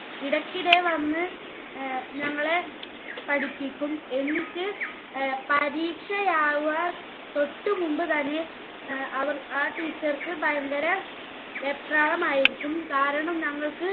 ഇടയ്ക്കിടെ വന്ന് ഞങ്ങളെ പഠിപ്പിക്കും. എന്നിട്ട് പരീക്ഷയാവാൻ തൊട്ടുമുൻപ് തന്നെ അവർ ~ ആ teacher ക്ക് ഭയങ്കര വെപ്രാളമായിരിക്കും. കാരണം ഞങ്ങൾക്ക്